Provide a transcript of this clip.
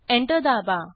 enter दाबा